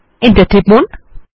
enter টিপুন